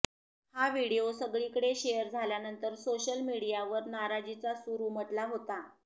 हा व्हिडीओ सगळीकडे शेअर झाल्यानंतर सोशल मीडियावर नाराजीचा सूर उमटला होता